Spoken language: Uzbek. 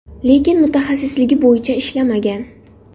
Lekin mutaxassisligi bo‘yicha ishlamagan.